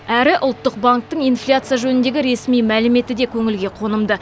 әрі ұлттық банктің инфляция жөніндегі ресми мәліметі де көңілге қонымды